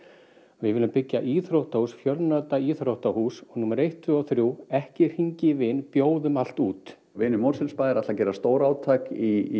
við viljum byggja íþróttahús fjölnota íþróttahús og númer eitt tveggja og þriggja ekki hringja í vin bjóðum allt út vinir Mosfellsbæjar gera stórátak í